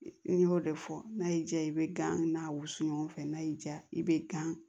N y'o de fɔ n'a y'i diya i bɛ gan n'a wusu ɲɔgɔn fɛ n'a y'i diya i bɛ gan